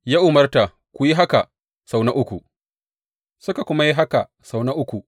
Ya umarta, Ku yi haka sau na uku, suka kuma yi haka sau na uku.